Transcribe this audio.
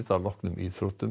að loknum íþróttum